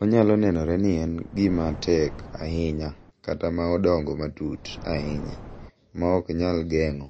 Onyalo nenore ni en gima tek ahinya kata ma odongo matut ahinya ma ok nyal geng’o